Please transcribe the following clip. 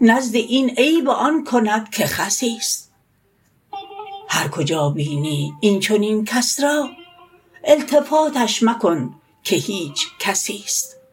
نزد این عیب آن کند که خسیست هر کجا بینی این چنین کس را التفاتش مکن که هیچ کسیست